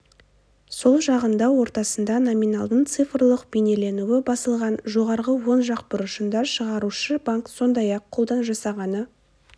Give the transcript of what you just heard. сол жағында ортасында номиналдың цифрлық бейнеленуі басылған жоғарғы оң жақ бұрышында шығарушы банк сондай-ақ қолдан жасағаны